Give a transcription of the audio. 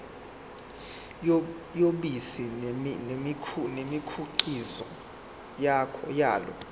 yobisi nemikhiqizo yalo